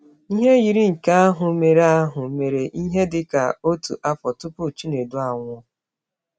Ihe yiri nke ahụ mere ahụ mere ihe dị ka otu afọ tupu Chinedu anwụọ.